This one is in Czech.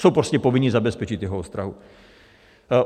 Jsou prostě povinni zabezpečit jeho ostrahu.